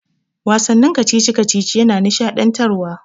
Wasannin kacici-kacici yana nishaɗantarwa.